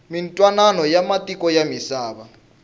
mintwanano ya matiko ya misava